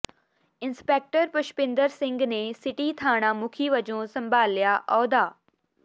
inspector Pushpinder Singh ਨੇ city ਥਾਣਾ ਮੁਖੀ ਵਜੋਂ ਸੰਭਾਲਿਆ ਅਹੁਦਾ